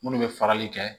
Munnu bɛ farali kɛ